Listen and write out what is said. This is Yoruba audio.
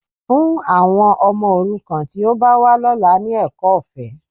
Fún àwọn ọmọ òrukàn tí ó bá wá lọ́la ní ẹ̀kọ́ ọ̀fẹ́